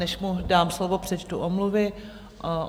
Než mu dám slovo, přečtu omluvy.